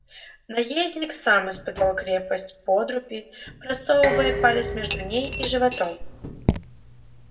наездник сам испытал крепость подруги просовывая палец между ней и животом